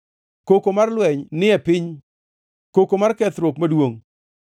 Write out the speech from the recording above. Koko mar lweny ni e piny, koko mar kethruok maduongʼ!